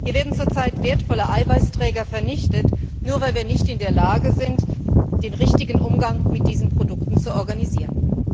Hier werden zurzeit wertvolle Eiweißträger vernichtet, nur weil wir nicht in der Lage sind, den richtigen Umgang mit diesen Produkten zu organisieren.